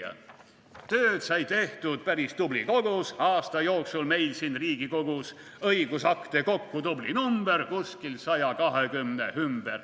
/ Tööd sai tehtud päris tubli kogus / aasta jooksul meil siin Riigikogus, / õigusakte kokku tubli number, / kuskil 120 ümber.